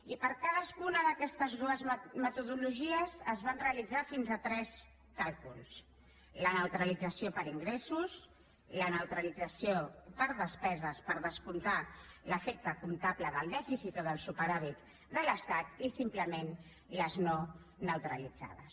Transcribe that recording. i per a cadascuna d’aquestes metodologies es van realitzar fins a tres càlculs la neutralització per ingressos la neutralització per despeses per descomptar l’efecte comptable del dèficit o del superàvit de l’estat i simplement les no neutralitzades